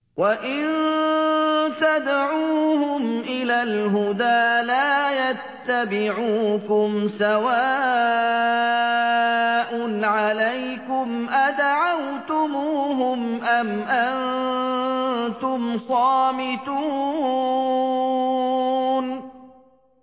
وَإِن تَدْعُوهُمْ إِلَى الْهُدَىٰ لَا يَتَّبِعُوكُمْ ۚ سَوَاءٌ عَلَيْكُمْ أَدَعَوْتُمُوهُمْ أَمْ أَنتُمْ صَامِتُونَ